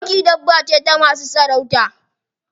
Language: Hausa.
Doki dabba ce ta masu sarauta.